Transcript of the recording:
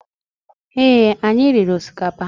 Ee, anyị riri osikapa